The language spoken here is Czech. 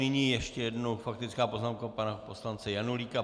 Nyní ještě jednou faktická poznámka pana poslance Janulíka.